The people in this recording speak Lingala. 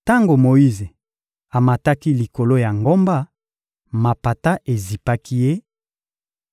Tango Moyize amataki likolo ya ngomba, mapata ezipaki ye